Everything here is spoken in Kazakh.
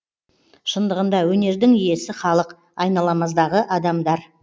шындығында өнердің иесі халық айналамыздағы адамдар